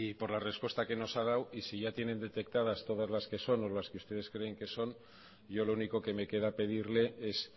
por la respuesta que nos ha dado y si ya tienen detectadas todas las que son o las que ustedes creen que son yo lo único que me queda pedirle es